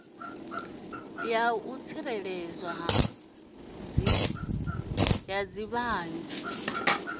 ya u tsireledzwa ha dziṱhanzi